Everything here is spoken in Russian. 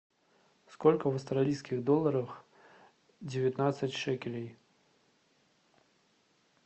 сколько в австралийских долларах девятнадцать шекелей